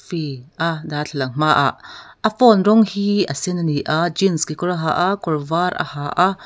a darthlalang hma ah a phone rawng hi a sen ani a jeans kekawr a ha a kawr var a ha a.